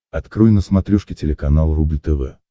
открой на смотрешке телеканал рубль тв